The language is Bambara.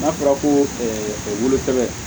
N'a fɔra ko wolo sɛbɛ